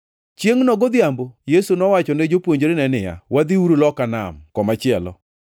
Chiengʼno godhiambo Yesu nowacho ne jopuonjrene niya, “Wadhiuru loka nam komachielo.”